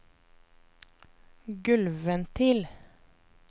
gulvventil